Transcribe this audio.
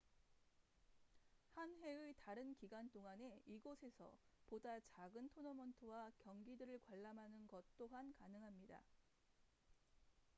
한 해의 다른 기간 동안에 이곳에서 보다 작은 토너먼트와 경기들을 관람하는 것 또한 가능합니다